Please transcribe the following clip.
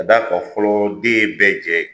Ka da kan, fɔlɔ den ye bɛɛ jɛ ye.